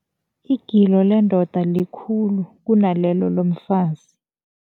Igilo lendoda likhulu kunalelo lomfazi.